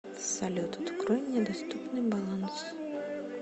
салют открой мне доступный баланс